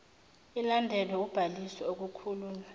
ilandelwe ubhaliso okukhulunywa